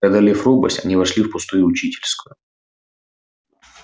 преодолев робость они вошли в пустую учительскую